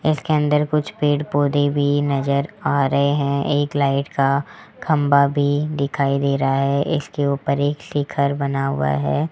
इसके अंदर कुछ पेड़ पौधे भी नजर आ रहे हैं एक लाइट का खंबा भी दिखाई दे रहा है इसके ऊपर एक शिखर बना हुआ है।